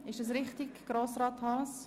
Ist das richtig, Grossrat Haas?